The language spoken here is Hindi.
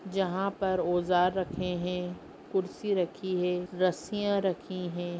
जहाँ पर औजार रखे है कुर्सी रखी है रस्सियाँ रखी है।